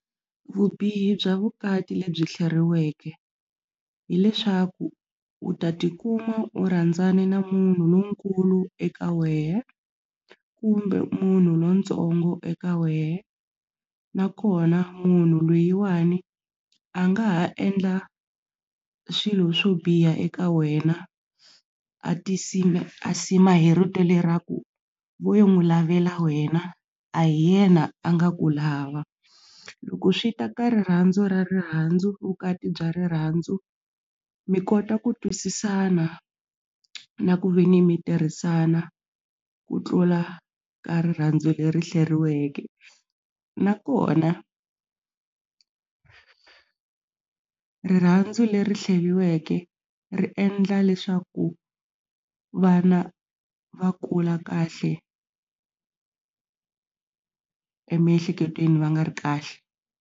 Vubihi bya vukati lebyi hleriweke hileswaku u ta tikuma u rhandzana na munhu lonkulu eka wehe kumbe munhu lontsongo eka wehe nakona munhu loyiwani a nga ha endla swilo swo biha eka wena a tinsima a sima hi rito leraku vo n'wi lavela wena a hi yena a nga ku lava loko swi ta ka rirhandzu ra rirhandzu vukati bya rirhandzu mi kota ku twisisana na ku ve ni mi tirhisana ku tlula ka rirhandzu leri hleriweke nakona rirhandzu leri hleriweke ri endla leswaku vana va kula kahle emiehleketweni va nga ri kahle.